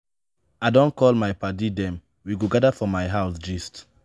i don call my paddy dem we go gada for my house gist.